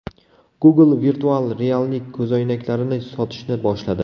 Google virtual reallik ko‘zoynaklarini sotishni boshladi.